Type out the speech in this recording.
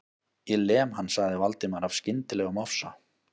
Ég lem hann.- sagði Valdimar af skyndilegum ofsa